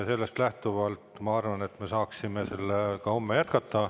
Sellest lähtuvalt ma arvan, et me jätkame sellega homme.